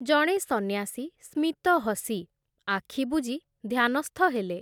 ଜଣେ ସନ୍ନ୍ୟାସୀ ସ୍ମିତ ହସି, ଆଖିବୁଜି ଧ୍ୟାନସ୍ଥ ହେଲେ ।